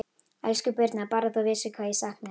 Elsku Birna, Bara að þú vissir hvað ég sakna þín.